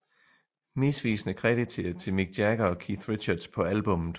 Misvisende krediteret til Mick Jagger og Keith Richards på albummet